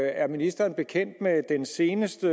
er ministeren bekendt med den seneste